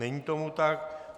Není tomu tak.